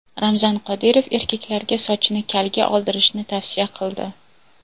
Ramzan Qodirov erkaklarga sochini kalga oldirishni tavsiya qildi.